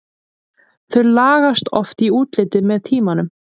Þau lagast oft í útliti með tímanum.